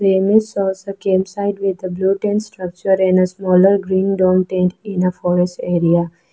The image shows a campsite with a blue tent structure in a smaller green dome tent in the forest area.